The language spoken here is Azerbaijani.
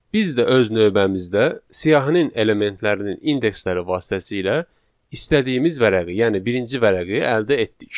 Biz də öz növbəmizdə siyahının elementlərinin indeksləri vasitəsilə istədiyimiz vərəqi, yəni birinci vərəqi əldə etdik.